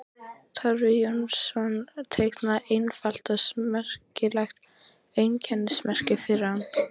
Torfi Jónsson teiknaði einfalt og smekklegt einkennismerki fyrir hann.